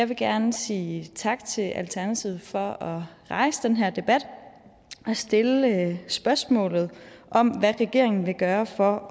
vil gerne sige tak til alternativet for at rejse den her debat og stille spørgsmålet om hvad regeringen vil gøre for